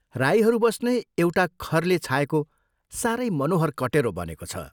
राईहरू बस्ने एउटा खरले छाएको सारै मनोहर कटेरो बनेको छ।